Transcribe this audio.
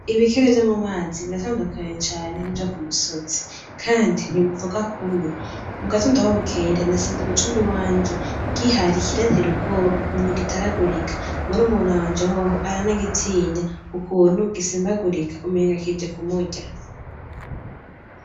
Ibikere vyo mu mazi biratandukanye cane n'ivyo ku musozi kandi ntibivuga kumwe, mu gatondo aho bukera nasanze mu cumba i wanje gihari kirantera ubwoba ku kuntu gitaragurika, murumuna wanje hoho aranagitinya ku kuntu gisimbagurika umenga kije kumurya.